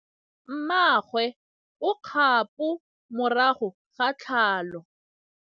Mmagwe o kgapô morago ga tlhalô.